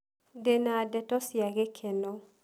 Ndĩna ndeto cia gĩkeno.